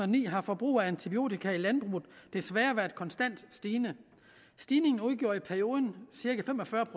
ni har forbruget af antibiotika i landbruget desværre været konstant stigende stigningen udgjorde i perioden cirka fem og fyrre